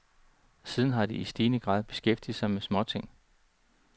Siden har de i stigende grad beskæftiget sig med småting.